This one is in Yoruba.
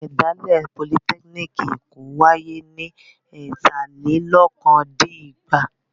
Ìṣẹ̀dálẹ̀ Politẹ́kíníkì Èkó wáyé ní ẹ̀tàlélokòó-dín-ẹgbàá.